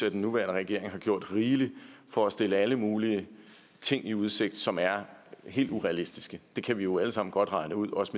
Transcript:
at den nuværende regering har gjort rigeligt for at stille alle mulige ting i udsigt som er helt urealistiske det kan vi jo alle sammen godt regne ud også